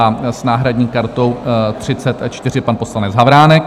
- A s náhradní kartou 34 pan poslanec Havránek.